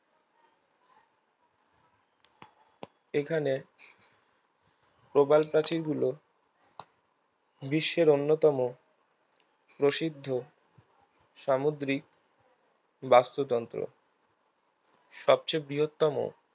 এখানে প্রবালপ্রাচীর গুলো বিশ্বের অন্যতম প্রসিদ্ধ সামুদ্রিক বাস্তুতন্ত্র সবচেয়ে বৃহত্তম